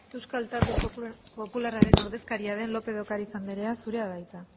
euskal talde popularraren ordezkaria den lópez de ocariz anderea zurea da hitza